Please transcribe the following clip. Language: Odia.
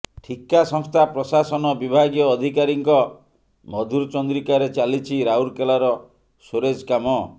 ଠିକା ସଂସ୍ଥା ପ୍ରଶାସନ ବିଭାଗୀୟ ଅଧତ୍କାରୀଙ୍କ ମଧୁ ଚନ୍ଦ୍ରିକାରେ ଚାଲିଛି ରାଉରକେଲାର ସ୍ୱୋରେଜ କାମ